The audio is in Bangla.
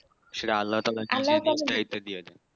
সেটা আল্লাহতালা